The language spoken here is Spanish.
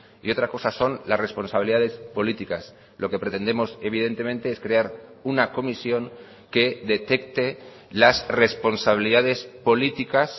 y otra cosa son las responsabilidades políticas lo que pretendemos evidentemente es crear una comisión que detecte las responsabilidades políticas